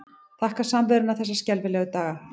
Þakka samveruna þessa skelfilegu daga.